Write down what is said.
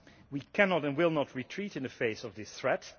We cannot and will not retreat in the face of this threat.